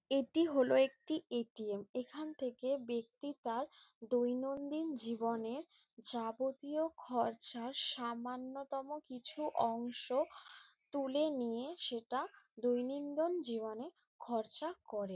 এটি হলো একটি এ.টি.এম. এখান থেকে ব্যক্তি তার দৈনন্দিন জীবনের যাবতীয় খরচার সামান্যতম কিছু অংশ তুলে নিয়ে সেটা দৈনন্দন জীবনে খরচা করে।